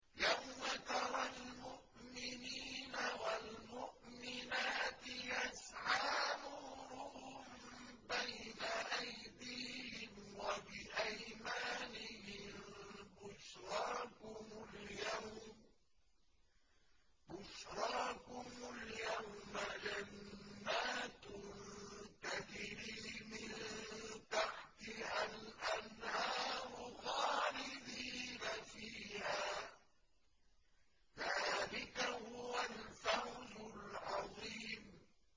يَوْمَ تَرَى الْمُؤْمِنِينَ وَالْمُؤْمِنَاتِ يَسْعَىٰ نُورُهُم بَيْنَ أَيْدِيهِمْ وَبِأَيْمَانِهِم بُشْرَاكُمُ الْيَوْمَ جَنَّاتٌ تَجْرِي مِن تَحْتِهَا الْأَنْهَارُ خَالِدِينَ فِيهَا ۚ ذَٰلِكَ هُوَ الْفَوْزُ الْعَظِيمُ